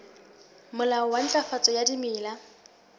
molao wa ntlafatso ya dimela